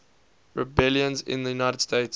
rebellions in the united states